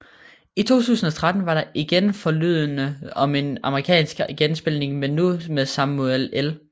I 2013 var der igen forlydende om en amerikansk geninspilning men nu med Samuel L